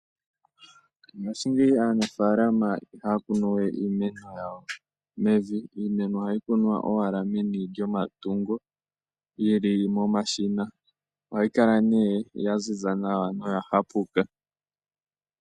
Ngashingeyi aanafalama ihaya kunu we iimeno yawo mevi, iimeno ohayi kunwa owala meni lyomatungo. Iimeno yi li momashina, ohayi kala nee ya ziza nawa noya hapuka.